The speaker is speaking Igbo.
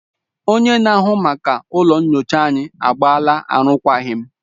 Onye na-ahụ maka ụlọ nyocha anyị agbaala arụkwaghịm